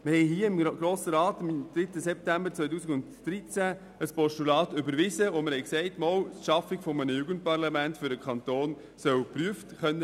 Wir haben im Grossen Rat am 03. 09. 2013 ein Postulat überwiesen, welches eine Prüfung zur Schaffung eines Jugendparlaments ermöglichte.